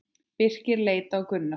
Birkir leit á Gunnar.